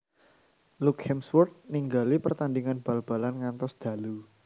Luke Hemsworth ningali pertandingan bal balan ngantos dalu